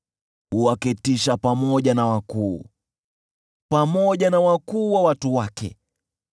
huwaketisha pamoja na wakuu, pamoja na wakuu wa watu wake.